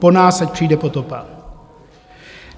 po nás ať přijde potopa.